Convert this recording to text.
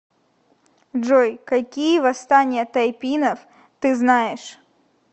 джой какие восстание тайпинов ты знаешь